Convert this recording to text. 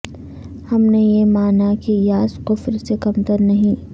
ہم نے یہ مانا کہ یاس کفر سے کمتر نہیں